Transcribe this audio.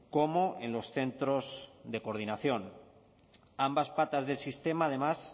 como en los centros de coordinación ambas patas del sistema además